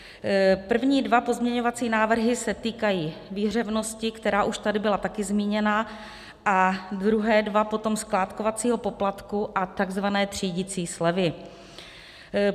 První dva pozměňovací návrhy se týkají výhřevnosti, která už tady byla také zmíněna, a druhé dva potom skládkovacího poplatku a tzv. třídicí slevy.